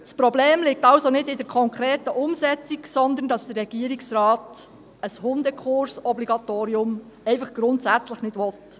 Das Problem liegt also nicht in der konkreten Umsetzung, sondern darin, dass der Regierungsrat ein Hundekursobligatorium einfach grundsätzlich nicht will.